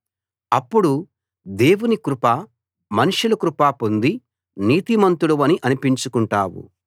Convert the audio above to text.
అప్పుడు దేవుని కృప మనుషుల కృప పొంది నీతిమంతుడవని అనిపించుకుంటావు